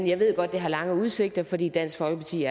jeg ved godt det har lange udsigter fordi dansk folkeparti